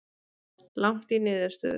Langt í niðurstöður